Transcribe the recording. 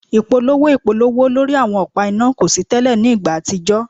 Ipolowo ipolowo lori awọn ọpa ina ko si tẹlẹ ni igba atijọ